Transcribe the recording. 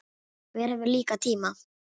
Hver hefur líka tíma?